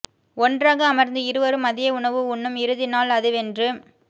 ஒன்றாய் அமர்ந்து இருவரும் மதிய உணவு உண்ணும் இறுதி நாள் அதுவென்று